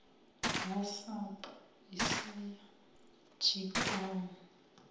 ha sapu asi ya tshikwama